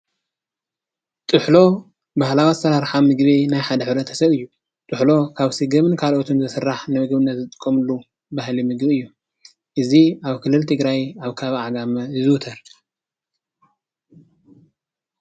ጥሕሎ ባህላዊ ኣሰራርሓ ምግቢ ናይ ሓደ ሕብረተሰብ እዩ። ጥሕሎ ካብ ስገም ካሎኦትን ዝስራሕ ንምግብነትዝጥቀምሉ ባህላዊ ምግቢ እዩ። እዚ ኣብ ክልል ትግራይ ኣብ ከባቢ ዓጋመ ይዝውተር።